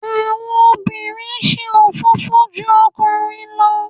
àwọn obìnrin se òfófó ju okunrin lọ.